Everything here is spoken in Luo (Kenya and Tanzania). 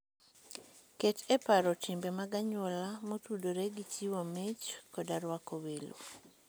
Ket e paro timbe mag anyuola motudore gi chiwo mich koda rwako welo.